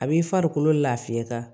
A b'i farikolo lafiya